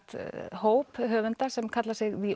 hóp höfunda sem kalla sig